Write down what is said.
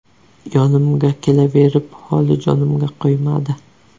Yonimga kelaverib, holi jonimga qo‘ymadi.